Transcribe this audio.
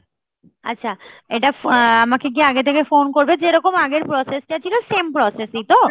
আচ্ছা এইটা ফ আ~ আমাকে কি আগে থেকে phone করবে যেরকম আগের process টা ছিল same process ই তো?